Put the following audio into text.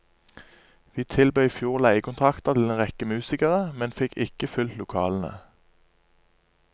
Vi tilbød i fjor leiekontrakter til en rekke musikere, men fikk ikke fylt lokalene.